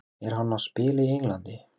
Er hann að spila í Englandi?